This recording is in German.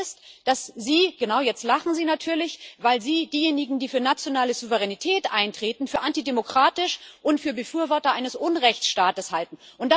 Das Problem ist, dass Sie genau, jetzt lachen Sie natürlich diejenigen, die für nationale Souveränität eintreten, für antidemokratisch und für Befürworter eines Unrechtsstaates halten.